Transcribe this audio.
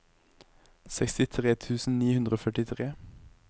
sekstitre tusen ni hundre og førtitre